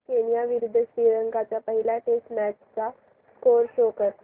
Kenya विरुद्ध श्रीलंका च्या पहिल्या टेस्ट मॅच चा स्कोअर शो कर